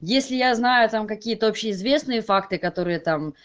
если я знаю там какие-то общеизвестные факты которые там